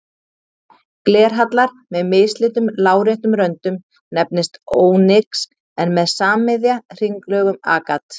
Glerhallar með mislitum láréttum röndum nefnist ónyx en með sammiðja hringlögum agat.